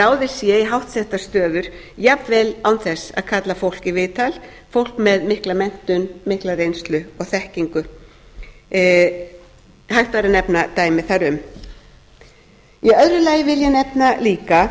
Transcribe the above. að ráðið sé í háttsettar stöður jafnvel án þess að kalla fólk í viðtal fólk með mikla menntun mikla reynslu og þekkingu hægt væri að nefna dæmi þar um